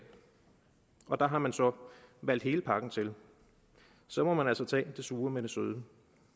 og der har man så valgt hele pakken til så må man altså tage det sure med det søde